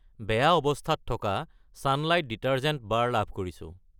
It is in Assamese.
বেয়া অৱস্থাত থকা চানলাইট ডিটাৰজেন্ট বাৰ লাভ কৰিছোঁ।